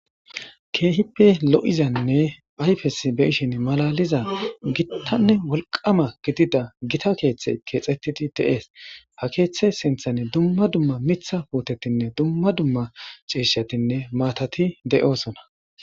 Keehippe lo7izanne ayfes be7ishin malaliza gittanne wolqama gidida gita keeththe keexettidi de7ees ha keeththe sinthani dumma dumma mitha puutetinne dumma dumma ciishetinne maatati de7oosona.